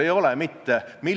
Head kolleegid!